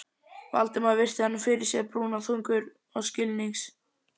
Valdimar virti hana fyrir sér, brúnaþungur og skilnings